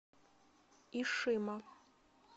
ишима